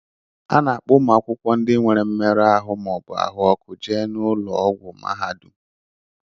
A na-akpọ ụmụ akwụkwọ ndị nwere mmerụ ahụ ma ọ bụ ahụ ọkụ jee na ụlọ ọgwụ mahadum.